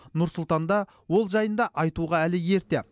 нұр сұлтанда ол жайында айтуға әлі ерте